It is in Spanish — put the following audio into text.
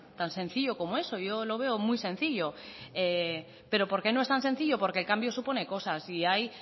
tan sencillo como eso yo lo veo muy sencillo pero por qué no es tan sencillo porque el cambio supone cosas y ahí